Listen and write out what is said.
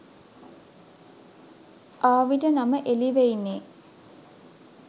ආවිට නම එලිවෙයිනේ?